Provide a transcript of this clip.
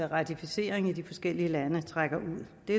ratificering i de forskellige lande trækker ud det